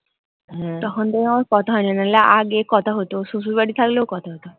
তখন থেকে আমার কথা হয়নি নাহলে আগে কথা হতো শশুর বাড়ি থাকলেও কথা হতো।